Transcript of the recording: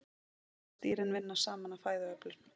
Oft virðast dýrin vinna saman að fæðuöflun.